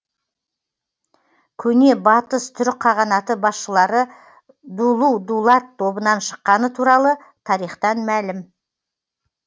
көне батыс түрік қағанаты басшылары дулу дулат тобынан шыққаны туралы тарихтан мәлім